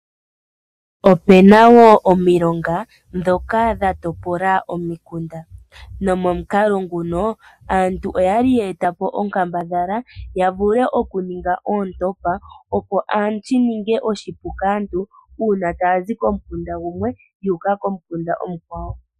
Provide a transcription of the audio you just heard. Opena omilonga ndhoka dhatopola omukunda nomukalo nguno aantu okwali ya ningi onkambadhala ya vule okuninga oontompa opo shininge oshipu kaantu uuna taya zi komukunda gumwe yu uka komukunda omukwawo.